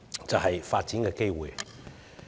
就是發展機會。